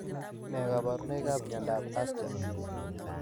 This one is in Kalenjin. Nee kabarunoikab Miandoab Ascher?